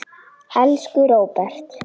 Elsku Róbert.